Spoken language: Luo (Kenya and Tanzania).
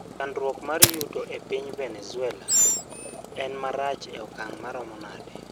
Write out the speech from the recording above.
Chandruok mar yuto e piny Venezuela en marach e okang ' maromo nade?